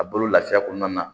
A bolo lafiya kɔnɔna na